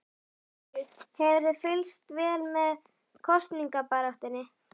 Lillý: Hefurðu fylgst vel með kosningabaráttunni?